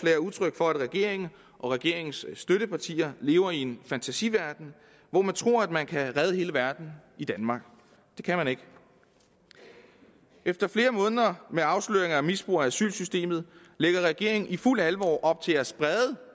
er udtryk for at regeringen og regeringens støttepartier lever i en fantasiverden hvor man tror at man kan redde hele verden i danmark det kan man ikke efter flere måneder med afsløringer af misbrug af asylsystemet lægger regeringen i fuldt alvor op til at